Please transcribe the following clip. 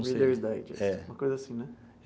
Reader's Digest. É. Uma coisa assim, né?